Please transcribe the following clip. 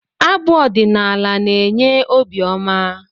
Abụ ọdinaala na-enye obi ọma